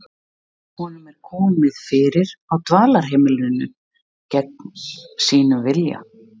Honum er komið fyrir á dvalarheimilinu gegn vilja sínum.